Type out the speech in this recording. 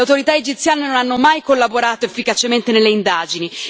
Le autorità egiziane non hanno mai collaborato efficacemente nelle indagini.